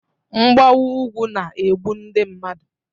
Mgbawa ugwu na-egbu ndị mmadụ